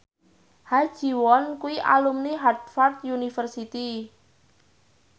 Ha Ji Won kuwi alumni Harvard university